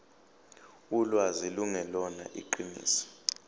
ulwazi lungelona iqiniso